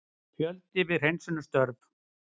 Fjöldi við hreinsunarstörf